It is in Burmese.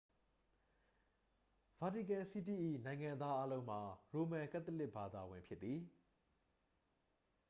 ဗာတီကန်စီးတီး၏ နိုင်ငံသားအားလုံးမှာ ရိုမန်ကတ်သလစ်ဘာသာဝင် ဖြစ်သည်